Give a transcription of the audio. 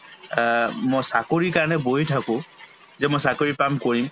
আ মই চাকৰিৰ কাৰণে বহি থাকো যে মই চাকৰি পাম কৰিম